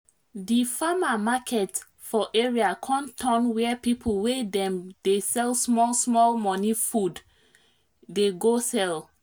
di farmer market for area con turn where people wey dem dey sell small small money food dey go sell